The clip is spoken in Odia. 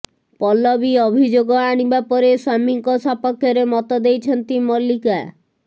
ପଲବୀ ଅଭିଯୋଗ ଆଣିବା ପରେ ସ୍ୱାମୀଙ୍କ ସପକ୍ଷରେ ମତ ଦେଇଛନ୍ତି ମଲିକା